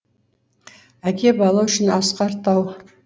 әке бала үшін асқар тау